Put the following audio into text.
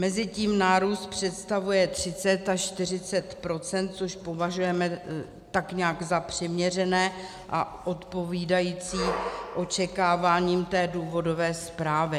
Mezitím nárůst představuje 30 až 40 %, což považujeme tak nějak za přiměřené a odpovídající očekáváním té důvodové zprávy.